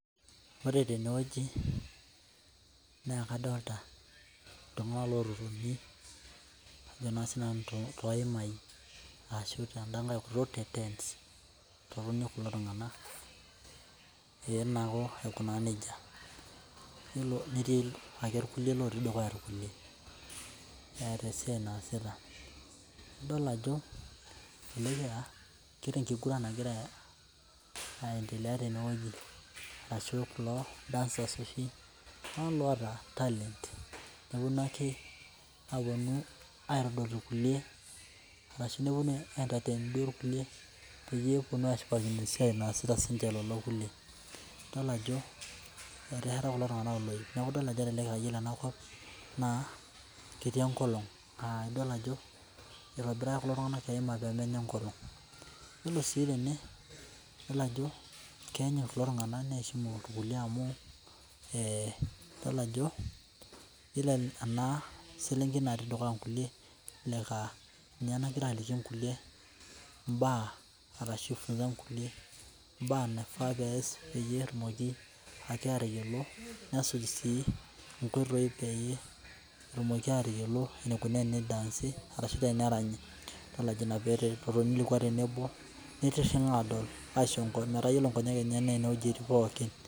Ore tenewueji na kadolta ltunganak loltukutuki ajo na sinanu toimai ashu kulo tunganak ee naa aikuna nejia nalo netii irkulie oikunaa nejia eeta esiai naasita adol ajo kewta enkiguran nagira aendelea tenewueji ashu kulo dancers oshi loota talent neponu aitaduaki irkueli arashu aintetain irkuelie peponu ashipakino enasita lolo kulie idol ajo etesheta kulo tunganak oloip neaku kelelek aa iyolo enakop na ketii enkolong idol ajo itobiraka kulo tunganak eima pemenya enkolong yiolo si tene keanyut kulo tunganak irkulie idol ajo ore enaselenkei natii dukuya nkulie ninye nagira aliki mbaa arashu lomon mbaa naifaa peasi nesuj si nkoitoi pitumoki ataasa tenerany mi iringa aisho nkonyek metaa ore nkonyek enyenak ninche ingurita.